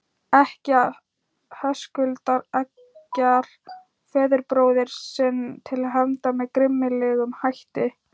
Ekkja Höskuldar eggjar föðurbróður sinn til hefnda með grimmilegum hætti.